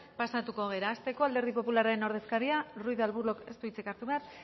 pasatuko gara hasteko alderdi popularraren ordezkaria ruiz de arbulok ez du hitzik hartu behar